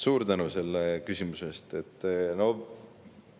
Suur tänu selle küsimuse eest!